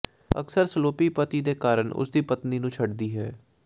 ਅਕਸਰ ਸਲੋਪੀ ਪਤੀ ਦੇ ਕਾਰਨ ਉਸ ਦੀ ਪਤਨੀ ਨੂੰ ਛੱਡਦੀ ਹੈ